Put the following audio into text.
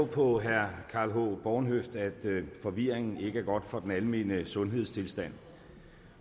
på herre karl h bornhøft at forvirring ikke er godt for den almene sundhedstilstand